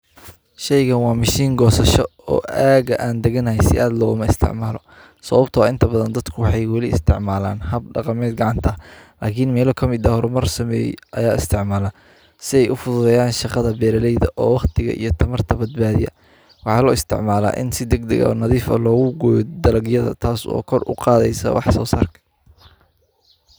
Sheygan waa mashin gosasho oo aga an daganahay si laga isticmalo dadka waxee isticmalan hab gacanta lakin meelo kamiid ah hormar sameye aya isticmala si ee u fududeyan shaqada beera leyda oo waqtiga iyo tamartawa bad badiya, waxaa lo isticmala in si nadhif ah logu goyo dalagyada tas oo koruqadheysa wax sosarka.